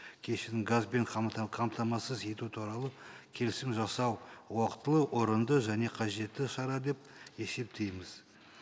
газбен қамтамасыз ету туралы келісім жасау уақытылы орынды және қажетті шара деп есептейміз